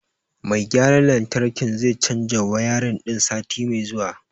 Mai gayran lantarkin zai canja wayarin ɗin sati mai zuwa.